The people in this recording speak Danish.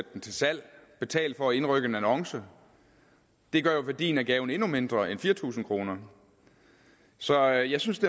den til salg betale for at indrykke en annonce det gør jo værdien af gaven endnu mindre end fire tusind kroner så jeg synes det